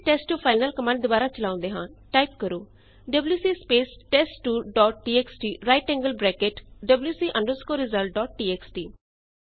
ਹੁਣ ਅਸੀ test two file ਨਾਲ ਕਮਾੰਡ ਦੋਬਾਰਾ ਚਲਾਉਂਦੇ ਹਾਂ ਟਾਈਪ ਕਰੋ WC space test two dot TXT right angled bracket wc results dot txt